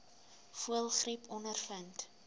voëlgriep ondervind